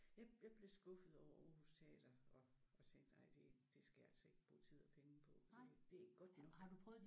Jeg jeg blev skuffet over Aarhus teater og tænkte ej det det skal jeg altså ikke bruge tid og penge på. Det det er ikke godt nok